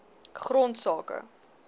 grondsake